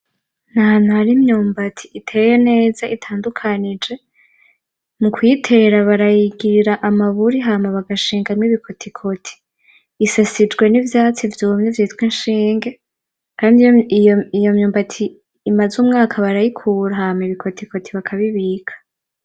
N'ahantu hari imyumbati iteye neza itandukanyije, mukuyitera barayigirira amaburi hama bagashingamwo ibikotikoti, isasijwe n'ivyatsi vyumye vyitwa inshinge kandi iy'iyo mwumbati imaze umwaka barayikura hama ibikotikoti bakabibika.